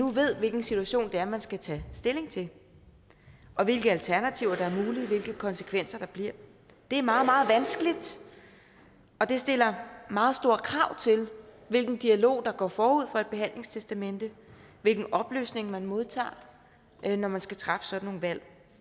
ved hvilken situation det er man skal tage stilling til og hvilke alternativer der er mulige hvilke konsekvenser der bliver det er meget meget vanskeligt og det stiller meget store krav til hvilken dialog der går forud for et behandlingstestamente hvilke oplysninger man modtager når man skal træffe sådan nogle valg